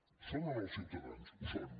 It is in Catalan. ho són o no els ciutadans ho són